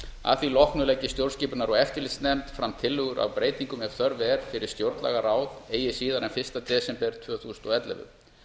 að því loknu leggi stjórnskipunar og eftirlitsnefnd fram tillögur að breytingum ef þörf er á fyrir stjórnlagaráð eigi síðar en fyrsta desember tvö þúsund og ellefu